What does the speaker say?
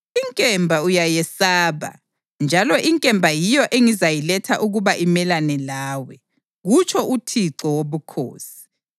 Inkemba uyayesaba, njalo inkemba yiyo engizayiletha ukuba imelane lawe, kutsho uThixo Wobukhosi.